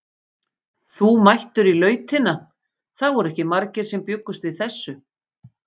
Þú mættur í Lautina, það voru ekki margir sem bjuggust við þessu?